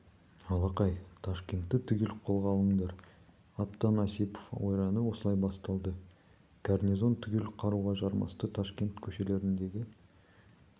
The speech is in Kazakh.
алақай ташкентті түгел қолға алыңдар аттан осипов ойраны осылай басталды гарнизон түгел қаруға жармасты ташкент көшелеріндегі